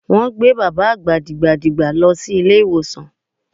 Wọ́n gbé bàbá àgbà dìgbàdìgbà lọ ilé ìwòsàn.